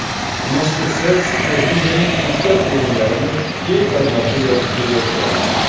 Mazkur sayt Superliganing ko‘plab o‘yinlarini keng formatda yoritib kelayotgandi.